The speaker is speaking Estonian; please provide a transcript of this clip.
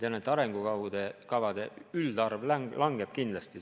Ma tean, et arengukavade üldarv langeb kindlasti.